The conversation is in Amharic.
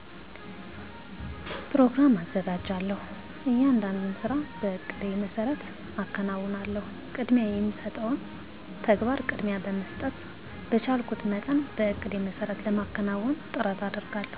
ኘሮግራም አዘጋጃለሁ። እያንዳንዱን ስራ በእቅዴ መሰረት አከናውናለሁ። ቅድሚያ የሚሰጠውን ተግባር ቅድሚያ በመስጠት በቻልኩት መጠን በእቅዴ መሰረት ለማከናወን ጥረት አደርጋለሁ።